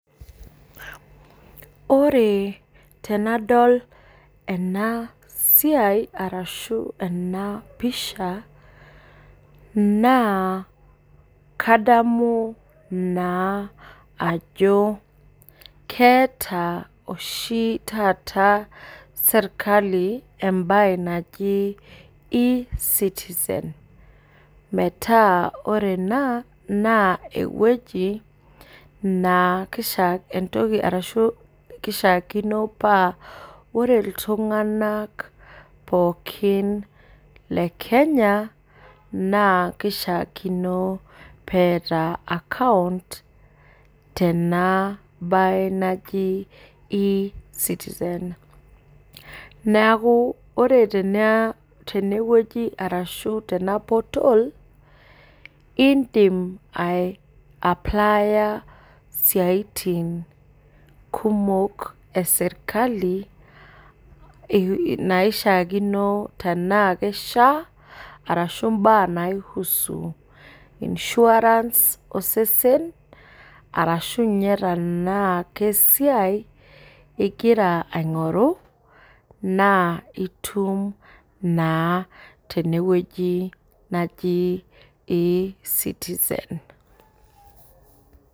Ore tenadol enasia ashu enapisha na kadamu naa ajo keeta oshi taata serkali embae naji e citizen meraa ore ena na ewueji nakishaakino paa ore ltunganak pookin le Kenya na kishaakino peeta account tenabae najibe citizen neaku ore tenewueji ashu tena portal indim ai applier siatin kumok eserkali naishaakino tanaa kishaa ashu mbaa nai husu insurance osesen arashu nye tanaa kesiai ingira aingoru na itum naa tenewueji naji e citizen